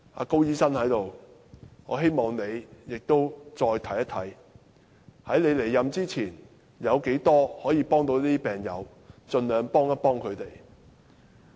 高局長在席，我希望他能夠再審視，在他離任前，如可以協助這些病友，便盡量協助他們。